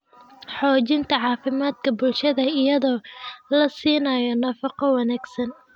Xoojinta caafimaadka bulshada iyadoo la siinayo nafaqo wanaagsan.